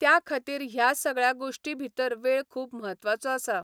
त्या खातीर ह्या सगळ्या गोश्टी भितर वेळ खूब म्हत्वाचो आसा.